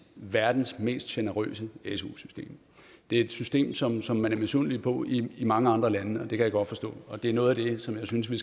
verdens mest generøse su system det er et system som som man er misundelig på i mange andre lande og det kan jeg godt forstå det er noget af det som jeg synes vi